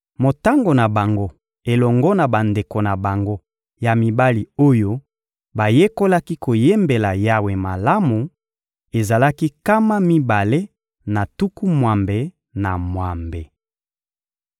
Motango na bango elongo na bandeko na bango ya mibali oyo bayekolaki koyembela Yawe malamu ezalaki nkama mibale na tuku mwambe na mwambe.